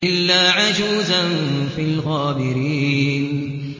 إِلَّا عَجُوزًا فِي الْغَابِرِينَ